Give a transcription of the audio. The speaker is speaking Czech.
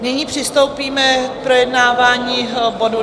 Nyní přistoupíme k projednávání bodu